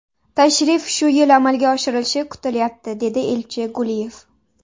Tashrif shu yil amalga oshirilishi kutilyapti”, dedi elchi Guliyev.